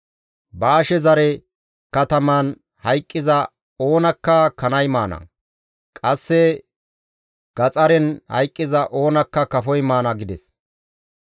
Baashe zare kataman hayqqiza oonakka kanay maana; qasse gaxaren hayqqiza oonakka kafoy maana» gides.